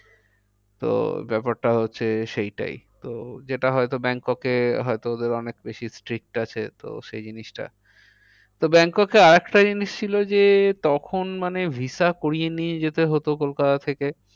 তো ব্যাপারটা হচ্ছে সেইটাই। তো যেটা হয় তো ব্যাংককে হয় তো ওদের অনেক বেশি stick আছে তো সেই জিনিসটা তো ব্যাংককে আর একটা জিনিস ছিল যে তখন মানে visa করিয়ে নিয়ে যেতে হতো কলকাতা থেকে।